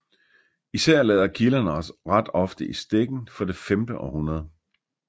Især lader kilderne os ret ofte i stikken for det femte århundrede